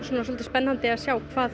spennandi að sjá hvað